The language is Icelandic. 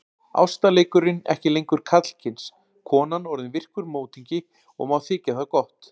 Ástarleikurinn ekki lengur karlkyns, konan orðin virkur mótingi og má þykja það gott.